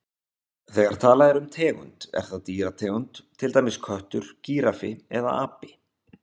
Þegar talað er um tegund er það dýrategund, til dæmis köttur, gíraffi eða api.